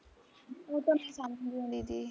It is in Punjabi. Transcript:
ਉਹ ਤਾਂ ਮੈਂ ਸਮਜਦੀ ਆ ਦੀਦੀ